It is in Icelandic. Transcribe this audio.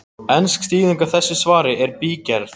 Ensk þýðing á þessu svari er í bígerð.